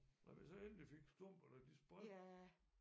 Da vi så endelig fik stumper da de sprang